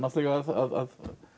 að